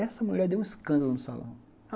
Essa mulher deu um escândalo no salão.